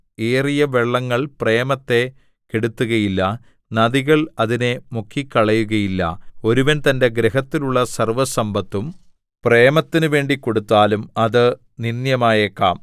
ഏറിയ വെള്ളങ്ങൾ പ്രേമത്തെ കെടുത്തുകയില്ല നദികൾ അതിനെ മുക്കിക്കളയുകയില്ല ഒരുവൻ തന്റെ ഗൃഹത്തിലുള്ള സർവ്വസമ്പത്തും പ്രേമത്തിനു വേണ്ടി കൊടുത്താലും അത് നിന്ദ്യമായേക്കാം